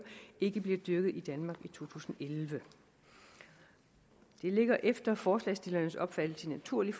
ikke bliver dyrket i danmark i to tusind og elleve det ligger efter forslagsstillernes opfattelse naturligt